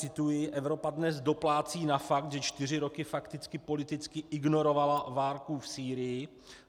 Cituji: Evropa dnes doplácí na fakt, že čtyři roky fakticky politicky ignorovala válku v Sýrii.